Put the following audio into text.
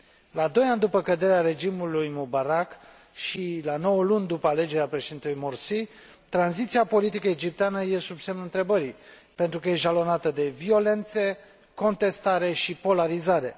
La doi ani după căderea regimului Mubarak și la nouă luni după alegerea președintelui Morsi, tranziția politică egipteană este sub semnul întrebării, pentru că e jalonată de violențe, contestare și polarizare.